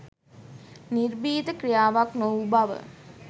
නිර්භීත ක්‍රියාවක් නොවූ බව